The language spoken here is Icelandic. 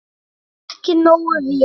Ekki nógu vel.